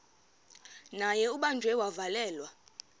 naye ubanjiwe wavalelwa